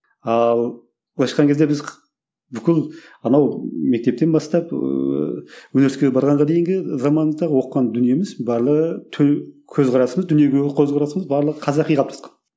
ал былайша айтқан кезде біз бүкіл анау мектептен бастап ыыы университетке барғанға дейінгі заманымызда оқыған дүниеміз барлығы көзқарасымыз дүниеге көзқарасымыз барлығы қазақи қалыптасқан